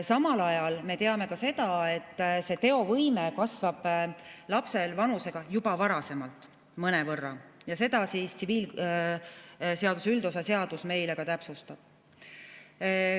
Samal ajal me teame ka seda, et teovõime kasvab lapsel vanusega juba varasemalt mõnevõrra ja seda tsiviilseadustiku üldosa seadus täpsustab.